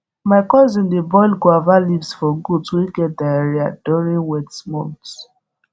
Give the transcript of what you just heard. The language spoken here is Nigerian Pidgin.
my cousin dey boil guava leaves for goat wey get diarrhea during wet months